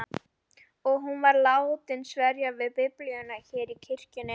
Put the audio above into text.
Og hún var látin sverja við Biblíuna hér í kirkjunni.